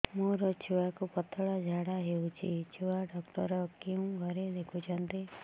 ମୋର ଛୁଆକୁ ପତଳା ଝାଡ଼ା ହେଉଛି ଛୁଆ ଡକ୍ଟର କେଉଁ ଘରେ ଦେଖୁଛନ୍ତି